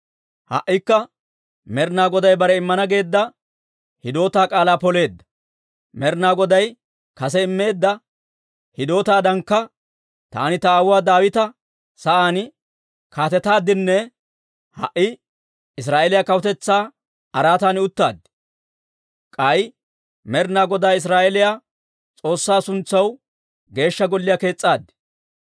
«Ha"ikka Med'inaa Goday bare immana geedda hidootaa k'aalaa poleedda. Med'inaa Goday kase immeedda hidootaadankka taani ta aawuwaa Daawita sa'aan kaatetaaddinne ha"i Israa'eeliyaa kawutetsaa araatan uttaad. K'ay Med'inaa Godaa Israa'eeliyaa S'oossaa suntsaw Geeshsha Golliyaa kees's'aad.